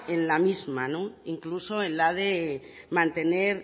en la misma incluso en la de mantener